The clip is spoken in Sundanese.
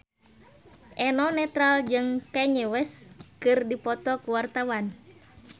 Eno Netral jeung Kanye West keur dipoto ku wartawan